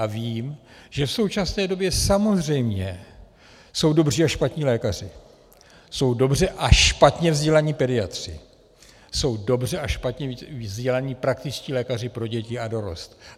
A vím, že v současné době samozřejmě jsou dobří a špatní lékaři, jsou dobře a špatně vzdělaní pediatři, jsou dobře a špatně vzdělaní praktičtí lékaři pro děti a dorost.